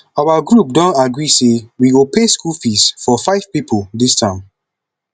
our group don agree say we go pay school fees for five people dis term